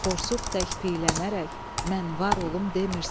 Borsuq tək piylənərək mən var olum demirsən.